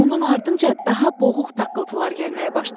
Bunun ardınca daha boğuq taqqıltılar gəlməyə başladı.